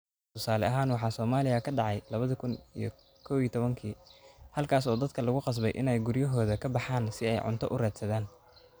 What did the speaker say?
Tusaale ahaan waxa Soomaaliya ka dhacay 2011-kii, halkaas oo dadka lagu qasbay in ay guryahooda ka baxaan si ay cunto u raadsadaan.